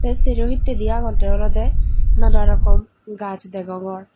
te serohittedi agonde olode nana rokom gaz degongor.